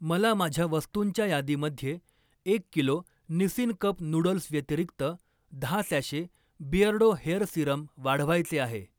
मला माझ्या वस्तुंच्या यादीमध्ये एक किलो निसिन कप नूडल्सव्यतिरिक्त दहा सॅशे बिअर्डो हेअर सीरम वाढवायचे आहे.